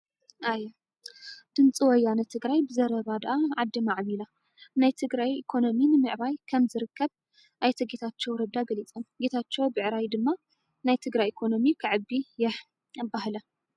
ኣየ! ድምፂ ወያነ ትግራይ ብዘረባ ደኣ ዓዲ ማዕቢላ፤ ናይ ትግራይ ኢኮኖሚ ንምዕባይ ከም ዝርከብ ኣይተ ጌታቸው ረዳ ገሊፆም ።ጌታቸው ብዕራይ ድማ ናይ ትግራይ ኢኮኖሚ ከዕቢ የህ ኣብኣላ!